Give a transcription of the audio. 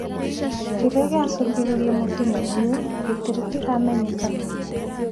Kĩrĩa gĩacĩngĩrĩirie mũtino ũyũ gĩtirĩ kĩramenyekana